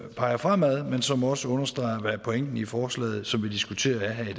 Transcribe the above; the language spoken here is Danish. peger fremad men som også understreger hvad pointen i forslaget som vi diskuterer her i